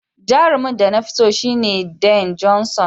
Jarumin da na fi so shine Dwayne Johnson.